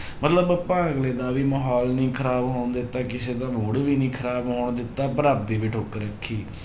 ਮਤਲਬ ਆਪਾਂ ਅਗਲੇ ਦਾ ਵੀ ਮਾਹੌਲ ਨੀ ਖ਼ਰਾਬ ਹੋਣ ਦਿੱਤਾ ਕਿਸੇ ਦਾ mood ਵੀ ਨੀ ਖ਼ਰਾਬ ਹੋਣ ਦਿੱਤਾ ਪਰ ਆਪਦੀ ਵੀ ਠੁੱਕ ਰੱਖੀ